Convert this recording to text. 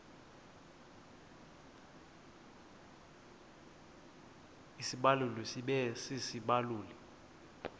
isibaluli sibe sisibaluli